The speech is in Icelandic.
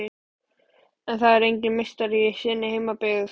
En það er enginn meistari í sinni heimabyggð.